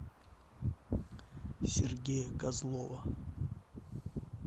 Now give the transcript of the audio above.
сергея козлова